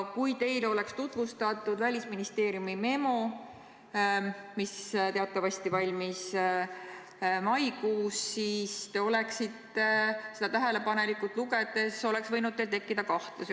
Kui teile oleks tutvustatud Välisministeeriumi memo, mis teatavasti valmis maikuus, siis oleks teil seda tähelepanelikult lugedes võinud kahtlus tekkida.